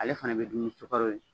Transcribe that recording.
Ale fana bɛ dumu ni sukɔrɔ ye.